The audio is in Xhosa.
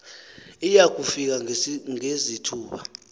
iya kufika ngezithuba